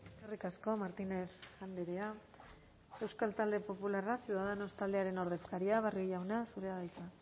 eskerrik asko martínez andrea euskal talde popularra ciudadanos taldearen ordezkaria barrio jauna zurea da hitza